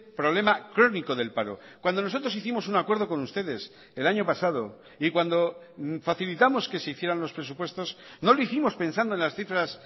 problema crónico del paro cuando nosotros hicimos un acuerdo con ustedes el año pasado y cuando facilitamos que se hicieran los presupuestos no lo hicimos pensando en las cifras